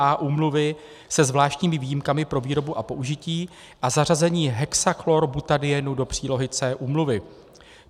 A úmluvy se zvláštními výjimkami pro výrobu a použití a zařazení hexachlorbutadienu do přílohy C úmluvy.